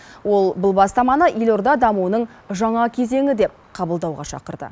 ол бұл бастаманы елорда дамуының жаңа кезеңі деп қабылдауға шақырды